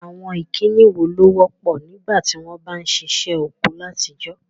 Àwon ìkíni wo ló wọ́pọ̀ nígbàtí won ba n sisẹ́ oko látijọ́?